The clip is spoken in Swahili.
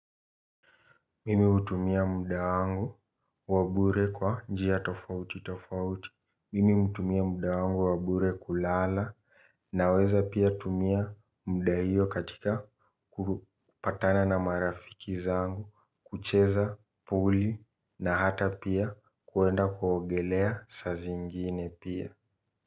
Mimi hutumia muda wangu wa bure kwa njia tofauti tofauti, mimi hutumia muda wangu wabure kulala na weza pia tumia muda hiyo katika kupatana na marafiki zangu, kucheza puli na hata pia kuenda kuogelea saa ziingine pia.